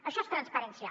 això és transparència